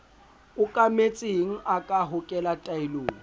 okametseng a ka hokela taelong